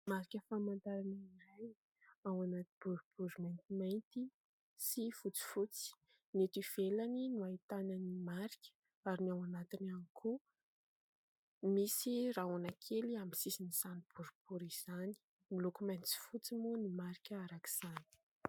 Marika famantarana iray ao anaty boribory maintimainty sy fotsifotsy. Ny eto ivelany no ahitana ny marika ary ny ao anatiny ihany koa, misy rahona kely amin'ny sisiny izany boribory izany, miloko mainty sy fotsy moa ny marika araka izany.